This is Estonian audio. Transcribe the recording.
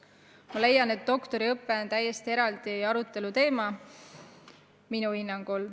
Ma leian, et doktoriõpe on täiesti eraldi aruteluteema.